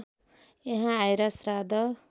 यहाँ आएर श्राद्ध